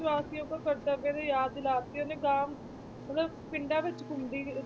ਵਾਸੀਆਂ ਨੂੰ ਕਰਤੱਵ ਦੀ ਯਾਦ ਦਿਲਾ ਦਿੱਤੀ ਉਹਨੇ ਮਤਲਬ ਪਿੰਡਾਂ ਵਿੱਚ ਘੁੰਮਦੀ ਸੀ